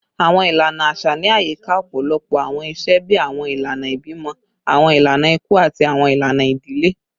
Awọn ilana aṣa ni ayika ọpọlọpọ awọn iṣe bii awọn ilana ibimọ, awọn ilana iku, ati awọn ilana idile